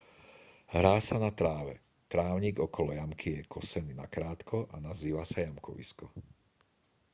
hrá sa na tráve trávnik okolo jamky je kosený nakrátko a nazýva sa jamkovisko